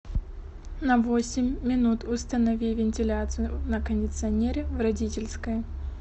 на восемь минут установи вентиляцию на кондиционере в родительской